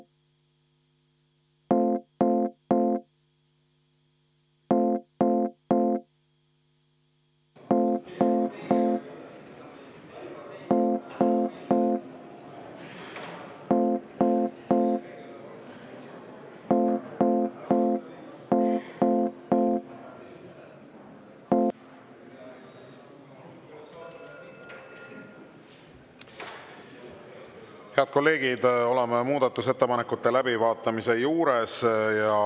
Head kolleegid, oleme muudatusettepanekute läbivaatamise juures.